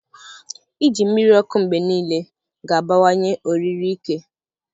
Iji mmiri ọkụ mgbe niile ga-abawanye oriri ike.